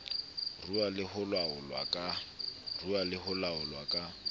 ruuwa le ho laolwa ka